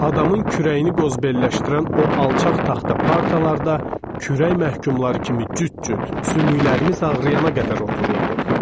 Adamın kürəyini qozbelləşdirən o alçaq taxta partalarda, kürək məhkumları kimi cüt-cüt sümüklərimiz ağrıyana qədər otururduq.